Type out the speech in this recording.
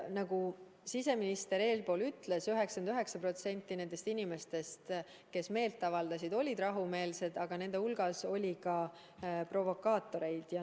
Nagu siseminister ütles, 99% nendest inimestest, kes meelt avaldasid, olid rahumeelsed, aga nende hulgas oli ka provokaatoreid.